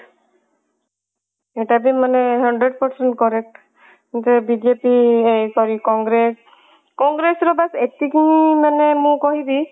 ଏଟା ବି ମାନେ hundred percent correct ଯେ ବିଜେପି ଏ sorry କଂଗ୍ରେସ କଂଗ୍ରେସ ର ବାସ ଏତିକି ମାନେ ମୁଁ କହିବି